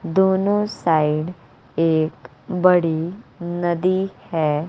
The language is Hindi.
दोनों साइड एक बड़ी नदी है।